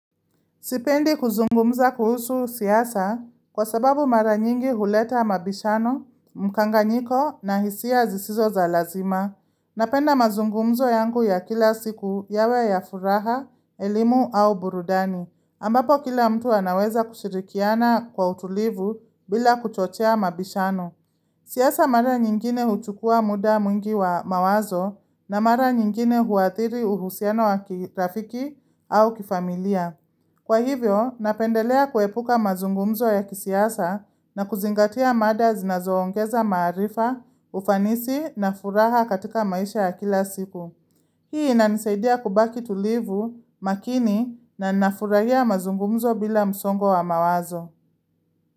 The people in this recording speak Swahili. Sipendi kuzungumza kuhusu siasa kwa sababu mara nyingi huleta mabishano, mkanganyiko na hisia zisizo za lazima. Napenda mazungumzo yangu ya kila siku yawe ya furaha, elimu au burudani. Ambapo kila mtu anaweza kushirikiana kwa utulivu bila kuchochea mabishano. Siasa mara nyingine huchukua muda mwingi wa mawazo na mara nyingine huathiri uhusiano wa kirafiki au kifamilia. Kwa hivyo, napendelea kuepuka mazungumzo ya kisiasa na kuzingatia mada zinazoongeza maharifa, ufanisi na furaha katika maisha ya kila siku. Hii inanisaidia kubaki tulivu makini na nafurahia mazungumzo bila msongo wa mawazo.